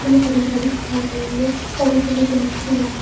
कल हरी भरी दिखाई दे रही है और उतरने के लिए सीढ़ीया है।